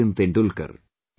Sachin Tendulkar